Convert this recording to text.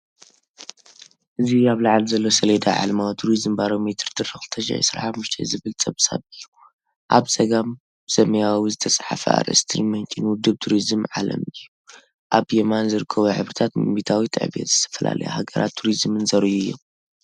እዚ ኣብ ላዕሊ ዘሎ ሰሌዳ “ዓለማዊ ቱሪዝም ባሮሜተር – ጥሪ 2025” ዝብል ጸብጻብ እዩ። ኣብ ጸጋም ብሰማያዊ ዝተጻሕፈ ኣርእስትን ምንጪን ውድብ ቱሪዝም ዓለም እዩ። ኣብ የማን ዝርከቡ ሕብርታት ብሚእታዊት ዕብየት ዝተፈላለያ ሃገራትን ቱሪዝምን ዘርእዩ እዮም።